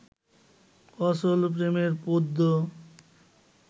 অচল প্রেমের পদ্য